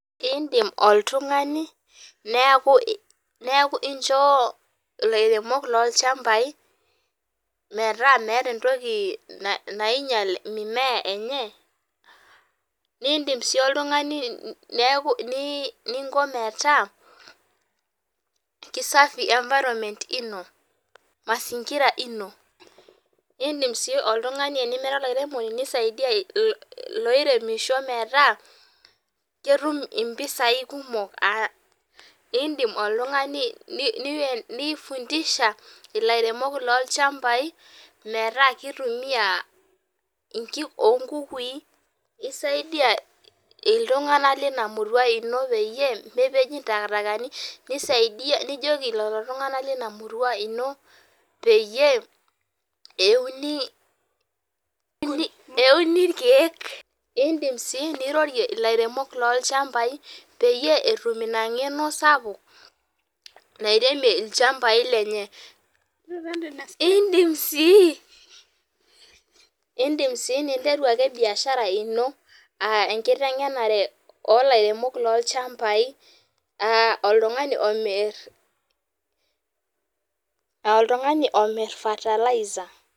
Idim oltung'ani, neeku incho ilairemok lolchambai metaa meeta entoki nainyal mimea enye, nidim si oltung'ani neeku ninko metaa, kisafi environment ino. Mazingira ino. Idim si oltung'ani enimira olairemoni nisaidia iloiremisho metaa, ketum impisai kumok, idim oltung'ani ni fundisha ilairemok lolchambai, metaa kitumia inkik onkukui, isaidia iltung'anak lina murua ino peyie mipej intakitakani, nisaidia nijoki lolo tung'ani lina murua ino, peyie euni irkeek, idim si nirorie ilairemok lolchambai peyie etum ina ng'eno sapuk, nairemie ilchambai lenye. Idim si, idim si ninteru ake biashara ino, ah enkiteng'enare olairemok lolchambai, oltung'ani omir, oltung'ani omir fertiliser.